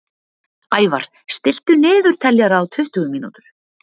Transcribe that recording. Ævar, stilltu niðurteljara á tuttugu mínútur.